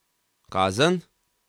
Kazen?